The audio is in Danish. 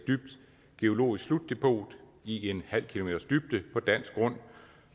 geologisk slutdepot i en halv kms dybde på dansk grund